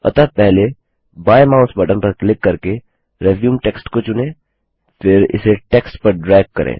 अतःपहले बाएं mouse button पर click करके रिज्यूम टेक्स्ट को चुनें फिर इसे टेक्स्ट पर ड्रैग करें